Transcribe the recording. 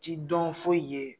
Ci dɔn foyi i ye.